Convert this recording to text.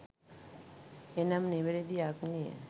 එනම් නිවැරදි අග්නිය